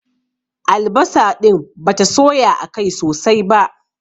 Albasa ɗin bata soya akai sosai ba.